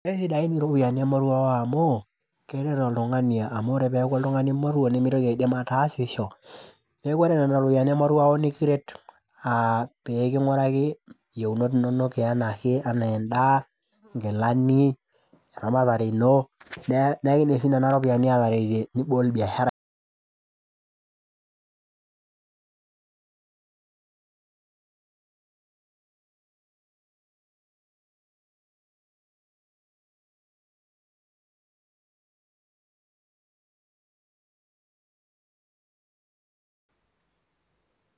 Keishu taake ninye ropiyani emoruao amu keret oltung'ani amu ore ake peaku oltung'ani moruo nemitoki ajo mataasisho neaku ore nena ropiyani emoruao nikiret peking'uraki yieunot inonok anaa endaa, nkilani, eramatare inon, neigil si nena ropiyani alakie nibol biashara